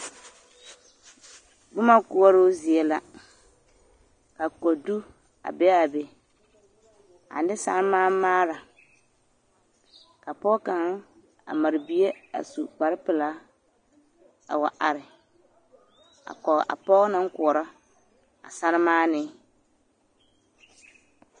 Boma koɔroo zie la ka kodu a be a be ane saremaamaara ka pɔge kaŋa a mare bie a su kpare pelaa a wa are a kɔge a pɔge naŋ koɔrɔ a saremaanee.